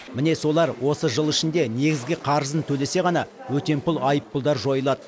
міне солар осы жыл ішінде негізгі қарызын төлесе ғана өтемпұл айыппұлдар жойылады